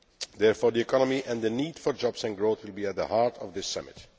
Therefore, the economy and the need for jobs and growth will be at the heart of this Summit.